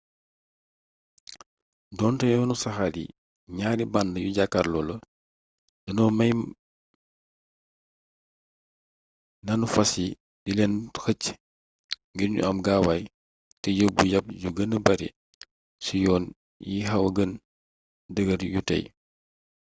doonte yoonu saxaar yi ñaari band yu jàkkarloo la danoo may nanu fas yi di leen xëcc ngir nu am gaawaay te yóbbu yab yu gëna bare cii yoon yixawa gën dëggr yu tey